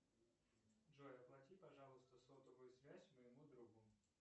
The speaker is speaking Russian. джой оплати пожалуйста сотовую связь моему другу